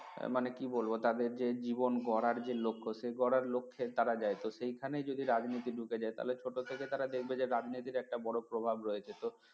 মানে কি বলবো তাদের যে জীবন গড়ার যে লক্ষ্য সেই গড়ার লক্ষ্যে তারা যায় তো সেখানে যদি রাজনীতি ঢুকে যায় তাহলে ছোট থেকে তারা দেখবে যে রাজনীতির একটা বড় প্রভাব রয়েছে তো